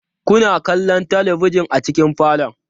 Kuna kallon talabijin a cikin falon?